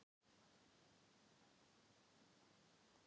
Hugrún Halldórsdóttir: Og hvað gaf hún mikið?